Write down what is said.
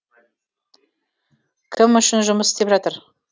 кім үшін жұмыс істеп жатыр